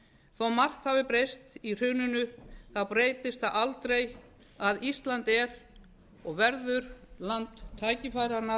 margt hafi breyst í hruninu þá breytist það aldrei að ísland er og verður land tækifæranna